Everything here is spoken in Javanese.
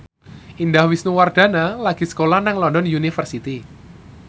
Indah Wisnuwardana lagi sekolah nang London University